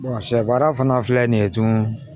sɛ baara fana filɛ nin ye tugun